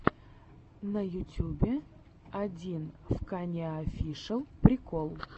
на ютьюбе одинвканоеофишэл прикол